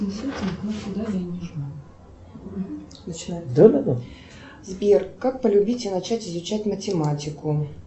сбер как полюбить и начать изучать математику